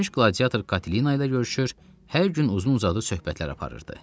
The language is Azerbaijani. Keçmiş qladiator Katelina ilə görüşür, hər gün uzun-uzadı söhbətlər aparırdı.